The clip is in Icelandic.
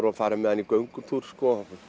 og fari með hann í göngutúr